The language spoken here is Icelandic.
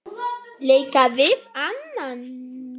leika við annan